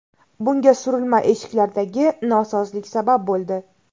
Bunga surilma eshiklardagi nosozlik sabab bo‘ldi.